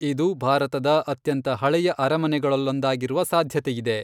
ಇದು ಭಾರತದ ಅತ್ಯಂತ ಹಳೆಯ ಅರಮನೆಗಳಲ್ಲೊಂದಾಗಿರುವ ಸಾಧ್ಯತೆಯಿದೆ.